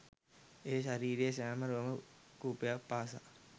එය ශරීරයේ සෑම රෝම කූපයක් පාසා